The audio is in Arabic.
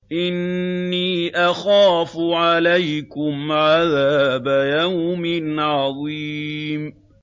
إِنِّي أَخَافُ عَلَيْكُمْ عَذَابَ يَوْمٍ عَظِيمٍ